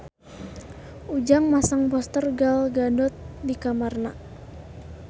Ujang masang poster Gal Gadot di kamarna